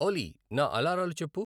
ఓలీ నా అలారాలు చెప్పు